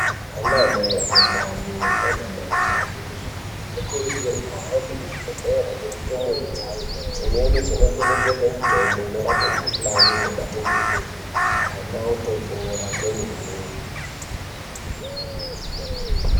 Anamai ane ndani nanamai achangobva kuzvara anokurudzirwa kuhambe kuzvibhendleri nendumure dzavo. Dzimweni dzinonhedzerwa mitombo dzinorapa mikhuhlani inobata ndumure ana otopona kwemene.